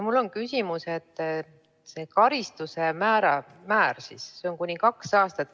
Mul on küsimus selle kohta, et karistuse määr on kuni kaks aastat.